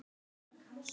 Helgadal